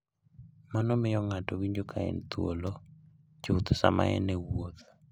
Mano miyo ng'ato winjo ka en thuolo chuth sama en e wuoth.